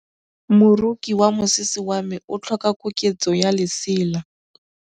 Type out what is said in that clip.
Moroki wa mosese wa me o tlhoka koketsô ya lesela.